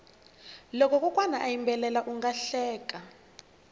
loko kokwana a yimbela unga hleka